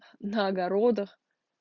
на огородах